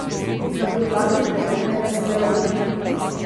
Na podlagi preteklega sodelovanja.